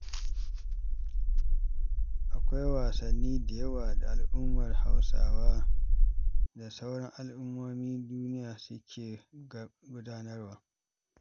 Akwai wasanni da yawa da al'ummar Hausawa da ma sauran al'ummomin duniya suke gudanarwa.